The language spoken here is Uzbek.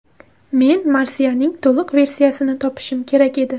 Men marsiyaning to‘liq versiyasini topishim kerak edi.